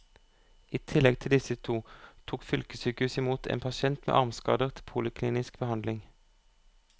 I tillegg til disse to tok fylkessykehuset i mot en pasient med armskader til poliklinisk behandling.